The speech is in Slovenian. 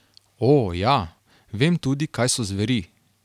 O, ja, vem tudi, kaj so zveri.